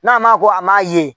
N'a ma ko a m'a ye